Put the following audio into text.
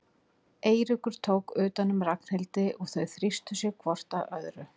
Eiríkur tók utan um Ragnhildi og þau þrýstu sér hvort að öðru.